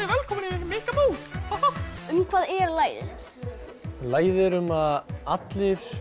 velkomin í Mikka mús um hvað er lagið lagið er um að allir